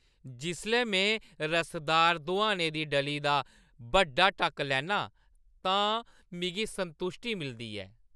जिसलै में रसदार दोहाने दी डली दा बड्डा टक्क लैन्ना आं तां मिगी संतुश्टी मिलदी ऐ।